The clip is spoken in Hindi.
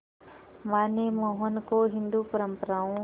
मां ने मोहन को हिंदू परंपराओं